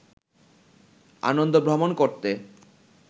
আনন্দ ভ্রমন করতে